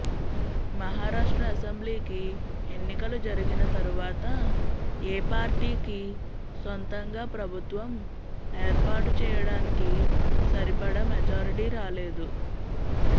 మహారాష్ట్ర అసెంబ్లీకి ఎన్నికలు జరిగిన తరువాత ఏ పార్టీకీ సొంతంగా ప్రభుత్వం ఏర్పాటు చేయడానికి సరిపడా మెజారిటీ రాలేదు